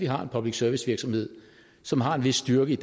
har en public service virksomhed som har en vis styrke